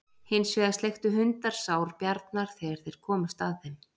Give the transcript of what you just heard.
Hins vegar sleiktu hundar sár Bjarnar þegar þeir komust að þeim.